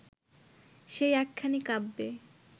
সেই একখানি কাব্যে